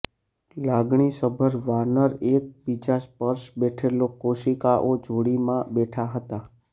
લાગણીસભર વાનર એકબીજા સ્પર્શ બેઠેલો કોશિકાઓ જોડીમાં બેઠા હતા